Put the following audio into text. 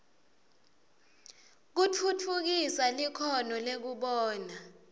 kutfutfukisa likhono lekubona